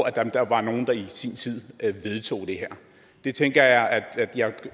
at der bare var nogen der i sin tid vedtog det her det tænker jeg jeg